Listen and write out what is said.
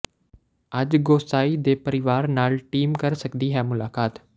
ਅੱਜ ਗੋਸਾਈਂ ਦੇ ਪਰਿਵਾਰ ਨਾਲ ਟੀਮ ਕਰ ਸਕਦੀ ਹੈ ਮੁਲਾਕਾਤ